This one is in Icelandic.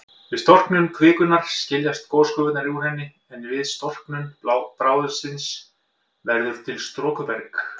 Við storknun kvikunnar skiljast gosgufurnar úr henni, en við storknun bráðsins verður til storkuberg.